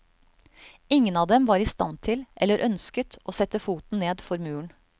Ingen av dem var i stand til, eller ønsket, å sette foten ned for muren.